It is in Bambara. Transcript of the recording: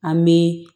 An bɛ